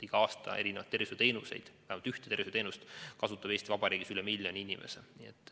Igal aastal kasutab Eesti Vabariigis vähemalt ühte tervishoiuteenust üle miljoni inimese.